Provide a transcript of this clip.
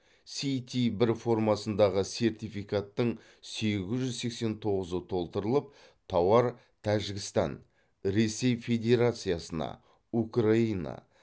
ст бір формасындағы сертификаттың сегіз жүз сексен тоғызы толтырылып тауар тәжікстан ресей федерациясына украина